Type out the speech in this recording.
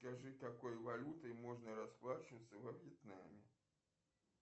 скажи какой валютой можно расплачиваться во вьетнаме